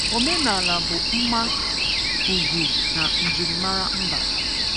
Omenala bụ mma, ùgwù na njirimara mba.